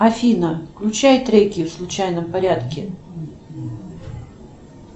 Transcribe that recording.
афина включай треки в случайном порядке